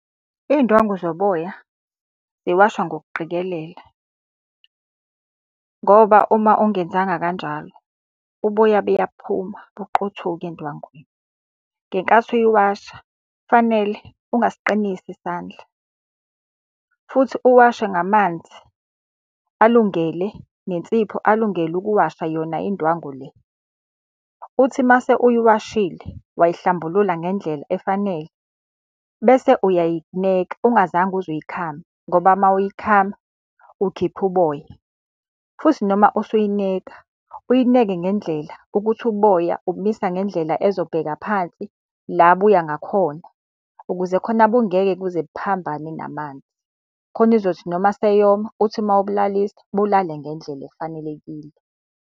Iy'ndwangu zoboya ziwashwa ngokuqikelela, ngoba uma ungenzanga kanjalo uboya buyaphuma buqothuke endwangini. Ngenkathi uyiwasha kufanele ungasiqinisi isandla futhi uwashe ngamanzi alungele, nensipho alungele ukuwasha yona indwangu le. Uthi uma sewuyiwashile wayihlambulula ngendlela efanele, bese uyayineka ungazange uze uyikhame ngoba uma uyikhama ukhipha uboya. Futhi noma usuyineka, uyineke ngendlela ukuthi uboya ubumisa ngendlela ezobheka phansi la buya ngakhona, ukuze khona bungeke kuze buphambane namanzi. Khona izothi noma seyoma uthi uma ubulalisa, bulale ngendlela efanelekile.